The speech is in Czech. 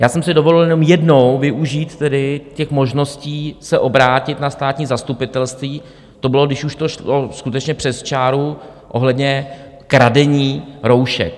Já jsem si dovolil jenom jednou využít tedy těch možností se obrátit na státní zastupitelství, to bylo, když už to šlo skutečně přes čáru, ohledně kradení roušek.